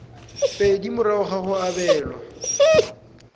pedi morago ga go abelwa